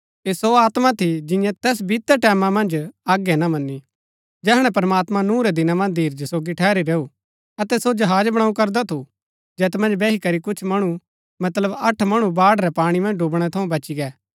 ऐह सो आत्मा थी जिन्यै तैस बीतै टैमां मन्ज आज्ञा ना मनी जैहणै प्रमात्मां नूह रै दिना मन्ज धीरज सोगी ठहरी रैऊ अतै सो जहाज बणु करदा थू जैत मन्ज बैही करी कुछ मणु मतलब अठ मणु बाढ़ रै पाणी मन्ज डुबणै थऊँ बची गै